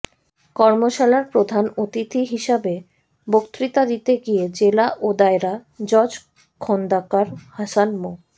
কর্মশালার প্রধান অতিথি হিসাবে বক্তৃতা দিতে গিয়ে জেলা ও দায়রা জজ খোন্দকার হাসান মো